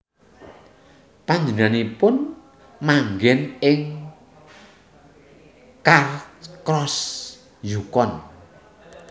Panjenenganipun manggèn ing Carcross Yukon